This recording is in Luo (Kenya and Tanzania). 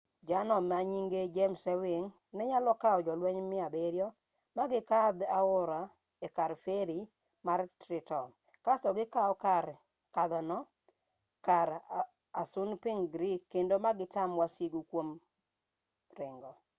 jener manyinge james ewing nenyalo kawo jolueny 700 magikadh aora ekar feri mar trenton kast gikau kar kadhono kar assunpink creek kendo magitam wasigu kuom ringo